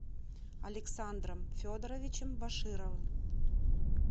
александром федоровичем башировым